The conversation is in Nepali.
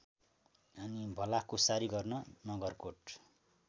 भलाकुसारी गर्न नगरकोट